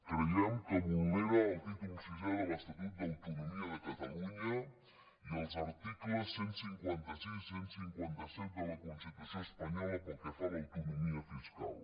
creiem que vulnera el títol sisè de l’estatut d’autonomia de catalunya i els articles cent i cinquanta sis i cent i cinquanta set de la constitució espanyola pel que fa a l’autonomia fiscal